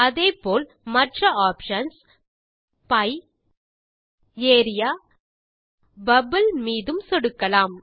அதேபோல் மற்ற options pie area bubble மீதும் சொடுக்கலாம்